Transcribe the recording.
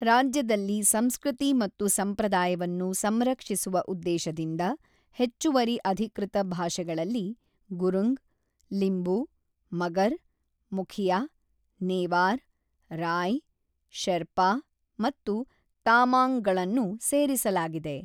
ರಾಜ್ಯದಲ್ಲಿ ಸಂಸ್ಕೃತಿ ಮತ್ತು ಸಂಪ್ರದಾಯವನ್ನು ಸಂರಕ್ಷಿಸುವ ಉದ್ದೇಶದಿಂದ ಹೆಚ್ಚುವರಿ ಅಧಿಕೃತ ಭಾಷೆಗಳಲ್ಲಿ ಗುರುಂಗ್, ಲಿಂಬು, ಮಗರ್, ಮುಖಿಯಾ, ನೇವಾರ್, ರಾಯ್, ಶೆರ್ಪಾ ಮತ್ತು ತಾಮಾಂಙ್‌ಗಳನ್ನು ಸೇರಿಸಲಾಗಿದೆ.